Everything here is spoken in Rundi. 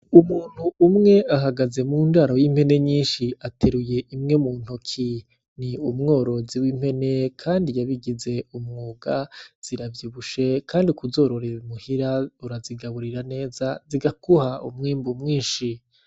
Umuntu umwe ahagaze mundaro y'impene nyinshi ateruye imwe muntoki, ni umworozi w'impene Kandi yabigize umwuga ziravyibushe Kandi kuzororera imuhira birazigaburira neza zikaguha umwimbu mwinshi.